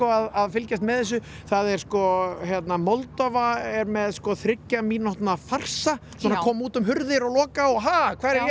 að fylgjast með þessu það er sko hérna Moldóva er með sko þriggja mínútna farsa svona koma út um hurðir og loka og ha hvar er